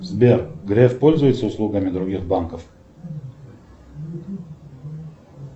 сбер греф пользуется услугами других банков